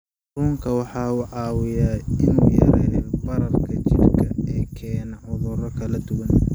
Kalluunku waxa uu caawiyaa in uu yareeyo bararka jidhka ee keena cudurro kala duwan.